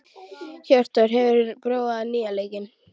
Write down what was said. Hjörtþór, hefur þú prófað nýja leikinn?